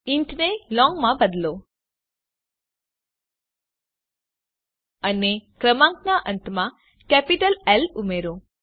int ને long માં બદલો અને ક્રમાંકના અંતમાં કેપીટલ એલ ઉમેરો